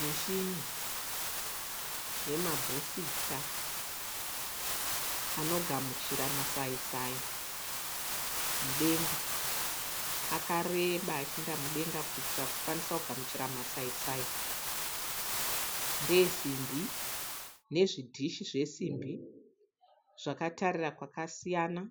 Mishini yemabhusita anogamuchira masaisai mudenga akareba achiinda mudenga kuitira kukwanisa kugamuchira masaisai ndee simbi nezvidhishi zvesimbi zvakatarira kwakasiyana